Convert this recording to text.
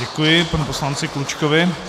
Děkuji panu poslanci Klučkovi.